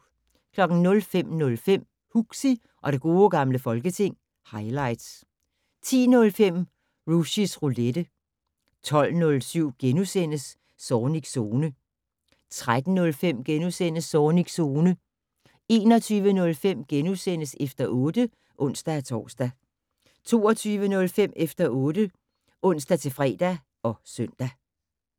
05:05: Huxi og det gode gamle folketing - highlights 10:05: Rushys Roulette 12:07: Zornigs Zone * 13:05: Zornigs Zone * 21:05: Efter 8 *(ons-tor) 22:05: Efter 8 (ons-fre og søn)